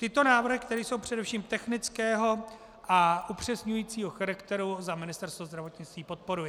Tyto návrhy, které jsou především technického a upřesňujícího charakteru, za Ministerstvo zdravotnictví podporuji.